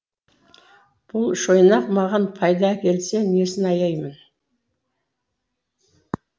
бұл шойнақ маған пайда әкелсе несін аяймын